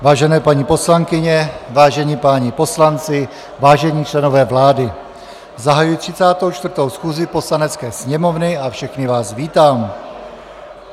Vážené paní poslankyně, vážení páni poslanci, vážení členové vlády, zahajuji 34. schůzi Poslanecké sněmovny a všechny vás vítám.